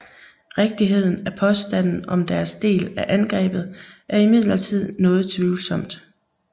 Rigtigheden af påstanden om deres del i angrebet er imidlertid noget tvivlsomt